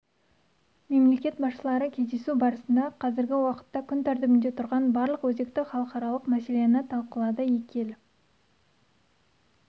мемлекет басшылары кездесу барысында қазіргі уақытта күн тәртібінде тұрған барлық өзекті халықаралық мәселені талқылады екі ел